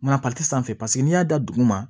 Mana sanfɛ paseke n'i y'a da duguma